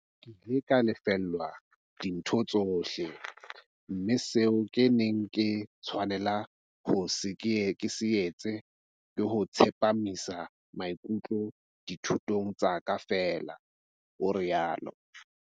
Ke ile ka lefellwa dintho tsohle, mme seo ke neng ke tshwanela ho se etsa ke ho tsepamisa maikutlo dithutong tsa ka feela, o rialo.